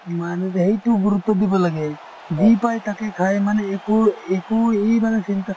সেইটোও গুৰুত্ব দিব লাগে , যি পাই তাকে খায় মানে একো একো চিন্তা।